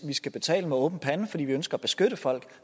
vi skal betale med åben pande fordi vi ønsker at beskytte folk